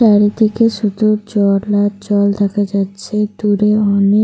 চারিদিকে শুধু জল আর জল দেখা যাচ্ছে। দূরে অনে--